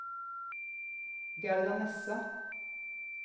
Gerda Nesse